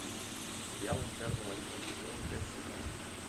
сериал интерны восьмой сезон часть семнадцать